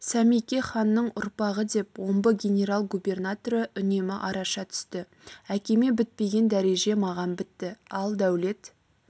сәмеке ханның ұрпағы деп омбы генерал-губернаторы үнемі араша түсті әкеме бітпеген дәреже маған бітті ал дәулет